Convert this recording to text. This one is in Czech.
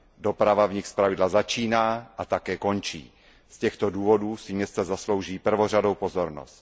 Doprava v nich zpravidla začíná a také končí. Z těchto důvodů si města zaslouží prvořadou pozornost.